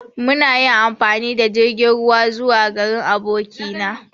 Mun yi amfani da jirgin ruwa zuwa garin aboki na.